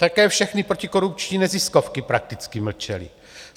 Také všechny protikorupční neziskovky prakticky mlčely.